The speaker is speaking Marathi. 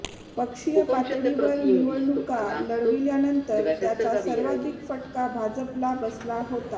पक्षीय पातळीवर निवडणुका लढविल्यानंतर त्याचा सर्वाधिक फटका भाजपला बसला होता